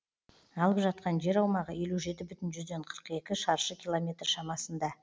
алып жатқан жер аумағы елу жеті бүтін жүзден қырық екі шаршы километр шамасында